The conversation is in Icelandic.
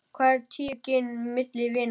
Hvað eru tíu gin milli vina.